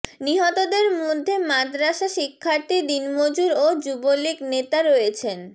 নিহতদের মধ্যে মাদরাসা শিক্ষার্থী দিনমজুর ও যুবলীগ নেতা রয়েছেন